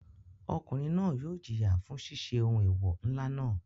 Ọkùnrin náà yóò jìyà fún ṣiṣẹ́ ohun eewọ ńlá náà.